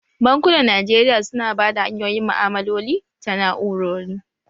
Bankunan Najeriya su na bada hanyoyin ma'malaloli ta na'urori